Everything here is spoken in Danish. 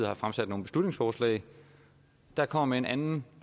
har fremsat nogle beslutningsforslag der kommer med en anden